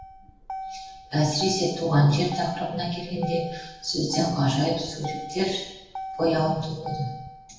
әсіресе туған жер тақырыбына келгенде сөзден ғажайып суреттер бояуын төгеді